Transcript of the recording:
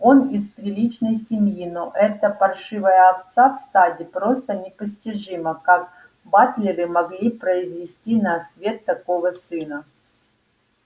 он из приличной семьи но эта паршивая овца в стаде просто непостижимо как батлеры могли произвести на свет такого сына